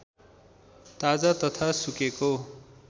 ताजा तथा सुकेको